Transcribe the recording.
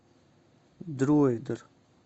дроидер